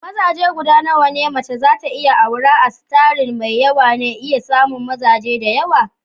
Mazaje gudanawa ne mece za ta iya aura a starin mai yawa na iya samun mazaje da yawa?